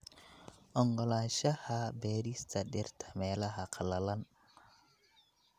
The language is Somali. Oggolaanshaha beerista dhirta meelaha qallalan.